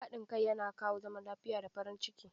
Haɗin kai yana kawo zaman lafiya da farin ciki.